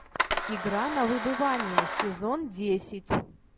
игра на выбывание сезон десять